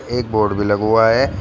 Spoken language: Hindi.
एक बोर्ड भी लग हुआ है।